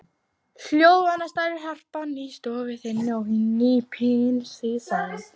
Hljóðvana starir harpan í stofu þinni og hnípin í senn.